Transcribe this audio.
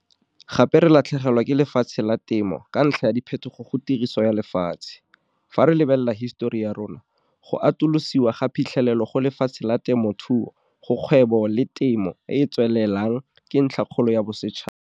Gape re latlhegelwa ke lefatshe la temo ka ntlha ya diphetogo go tiriso ya lefatshe. Fa re lebelela hisetori ya rona, go atolosiwa ga phitlhelelo go lefatshe la temothuo go kgwebo le temo e e tswelelang ke ntlhakgolo ya bosetšhaba.